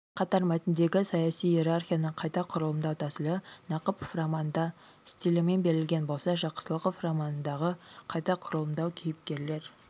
сонымен қатар мәтіндегі саяси иерархияны қайта құрылымдау тәсілі нақыпов романында стилімен берілген болса жақсылықов романындағы қайта құрылымдау кейіпкерлер